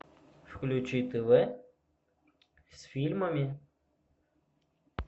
включи тв с фильмами